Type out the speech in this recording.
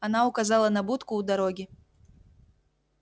она указала на будку у дороги